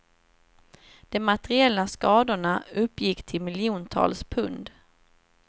De materiella skadorna uppgick till miljontals pund.